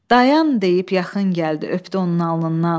Dayan deyib yaxın gəldi öpdü onun alnından.